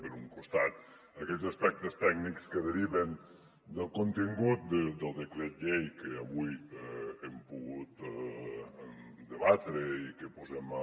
per un costat aquests aspectes tècnics que deriven del contingut del decret llei que avui hem pogut debatre i que posem a